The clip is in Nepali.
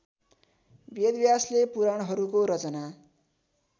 वेदव्यासले पुराणहरूको रचना